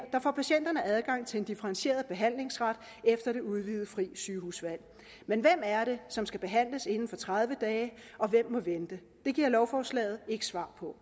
får patienterne adgang til en differentieret behandlingsret efter det udvidede frie sygehusvalg men hvem er det som skal behandles inden for tredive dage og hvem må vente det giver lovforslaget ikke svar på